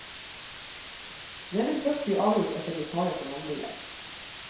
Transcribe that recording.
Det vil først bli avgjort etter lokale forhandlinger.